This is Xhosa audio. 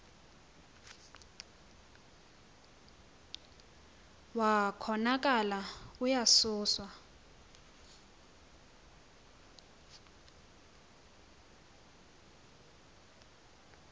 wa konakala uyasuswa